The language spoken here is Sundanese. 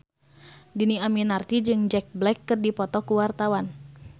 Dhini Aminarti jeung Jack Black keur dipoto ku wartawan